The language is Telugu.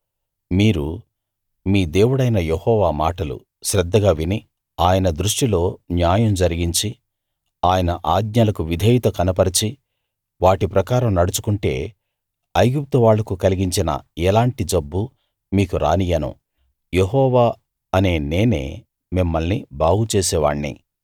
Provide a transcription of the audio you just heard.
మీరు మీ దేవుడైన యెహోవా మాటలు శ్రద్ధగా విని ఆయన దృష్టిలో న్యాయం జరిగించి ఆయన ఆజ్ఞలకు విధేయత కనపరచి వాటి ప్రకారం నడుచుకుంటే ఐగుప్తు వాళ్ళకు కలిగించిన ఎలాంటి జబ్బూ మీకు రానియ్యను యెహోవా అనే నేనే మిమ్మల్ని బాగుచేసేవాణ్ణి